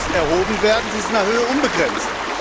Die muss erhoben werden, sie ist in der Höhe unbegrenzt.